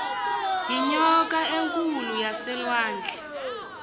yinyoka enkulu yaselwandle